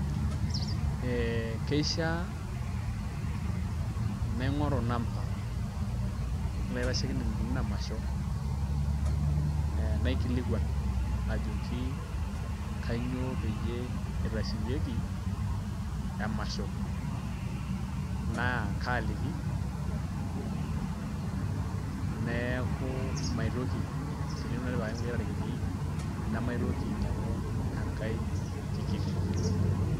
Ee keishiaa naing'oru namba olaitashekinoni lina masho ee naikilikuan ajoki kainyioo peyie itasheyieki emasho naa kaaliki neeku maitoki tenemutu naai etipikaki kulie tarikini nemaitoki ainyiang'u enkai tikit.